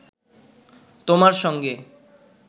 তোমার সঙ্গে